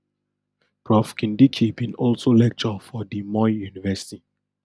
prof kindiki bin also lecture for di moi university